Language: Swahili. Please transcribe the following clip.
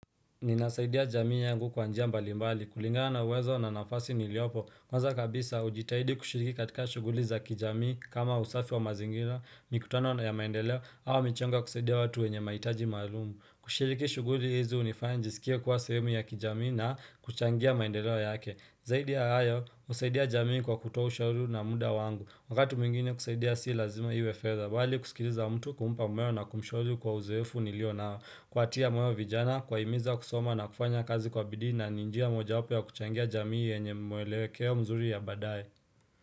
Ninasaidia jamii yangu kwanjia mbali mbali. Kulingana uwezo na nafasi niliopo. Kwanza kabisa, ujitahidi kushiriki katika shuguli za kijamii kama usafi wa mazingira, mikutano na ya maendeleo, hau michonga kushiriki watu wenye maitaji malumu. Kushiriki shuguli hizi unifanya njisikia kwa semhemu ya kijamii na kuchangia maendeleo yake. Zaidi ya ayo, usaidia jamii kwa kutoa ushauri na muda wangu. Wagati mwngine kusaidia si lazima iwefedha. Wali kusikiriza mtu kumpa mweo na kumshauri kwa uzefu nilio na kuatia mweo vijana, kwa imiza kusoma na kufanya kazi kwa bidii na, ni njia moja wapo ya kuchangia jamii yenye mwelewekeo mzuri ya badai.